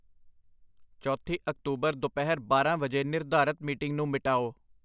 ਚੌਥੀ ਅਕਤੂਬਰ ਦੁਪਹਿਰ ਬਾਰਾਂ ਵਜੇ ਨਿਰਧਾਰਤ ਮੀਟਿੰਗ ਨੂੰ ਮਿਟਾਓ